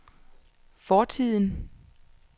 fortiden